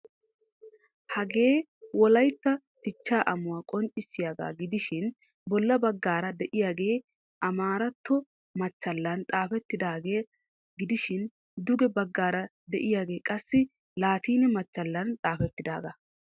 Hagee wolaytta dichchaa amuwa qonccissiyagaa gidishin bolla baggaara de'iyagee amaretto machchallan xaafettidaagaa gidishin duge baggaara de'iyagee qassi laatine machchallan xaafettidaagaa.